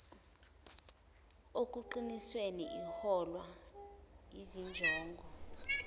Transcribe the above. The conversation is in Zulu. okunqunyiwe iholwa yizinjongo